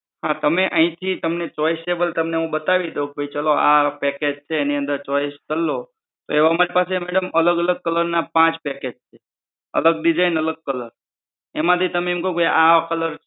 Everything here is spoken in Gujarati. હા તમે અહીથી તમને choiceable તમને હું બતાવી દઉં પછી ચાલો આ package છે એની અંદર choice કર લો તો એવા અમારી પાસે madam અલગ અલગ colour ના પાંચ package છે. અલગ design અલગ colour એમાંથી તમે એમ કહો કે આ colour